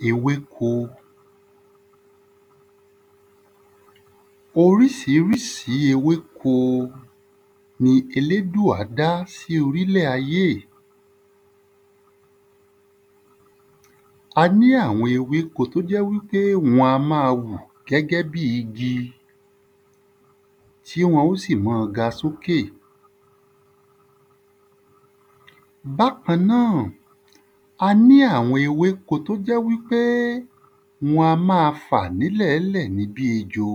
Ewéko Orísirísi ewéko ni elédùà dá sí orílẹ̀ ayé è A ní àwọn ewéko t’ó jẹ́ wí pé wọn a má a wù gẹ́gẹ́ bi igi tí wọn ó sì ma ga s’ókè. Bákan náà, a ní àwọn ewéko t’ó jẹ́ wí pé wọn a má a fà ní lẹ̀ẹ́lẹ̀ ni bí ejò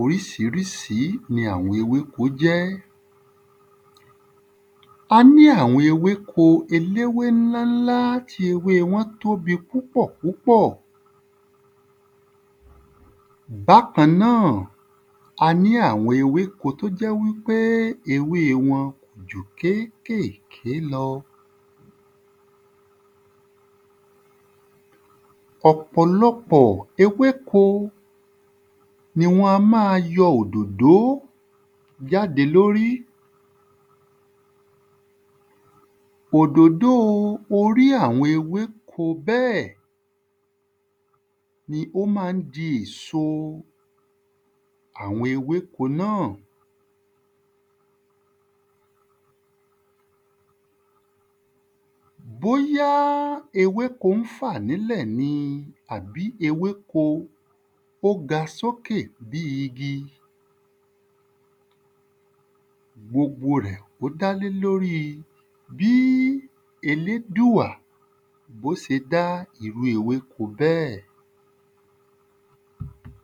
Orísirísi ni àwọn ewéko jẹ́. A ní àwọn ewéko eléwe ńlá ńlá tí ewé wọn tóbi púpọ̀púpọ̀. a ní àwọn ewéko t’ó jẹ́ wí pé ewé wọn jù kékèké lọ. Ọ̀pọ̀lọpọ̀ ewéko ni wọ́n a ma yọ òdòdò jáde l'órí Òdòdò o orí àwọn ewéko bẹ́ẹ̀ ni ó má ń di èso àwọn ewéko náà. Bóyá ewéko ń fà n'ílẹ̀ ní àbí ewéko ó ga s'ókè bí igi gbogbo rẹ̀ ó dá lé l'órí bí elédùà b’ó se dá irú ewéko bẹ́ẹ̀